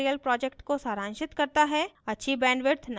यह spoken tutorial project को सारांशित करता है